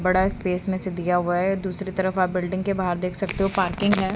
बड़ा स्पेस में से दिया हुआ हैं दूसरी तरफ आप बिल्डिंग के बाहर देख सकते हो पार्किंग है।